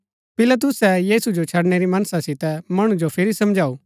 पिलातुसै यीशु जो छड़णै री मनसा सितै मणु जो फिरी समझऊ